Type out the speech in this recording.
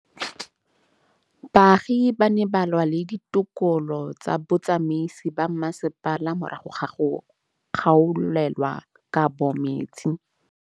Baagi ba ne ba lwa le ditokolo tsa botsamaisi ba mmasepala morago ga go gaolelwa kabo metsi